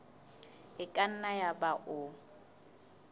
e ka nna yaba o